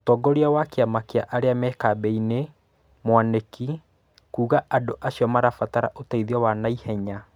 Mũtongoria wa kĩama kĩa arĩa me kambĩ-inĩ , Mwanĩki, kuuga andũacio marabatara ũteithio wa naihenya